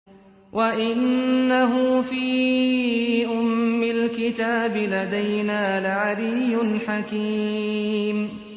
وَإِنَّهُ فِي أُمِّ الْكِتَابِ لَدَيْنَا لَعَلِيٌّ حَكِيمٌ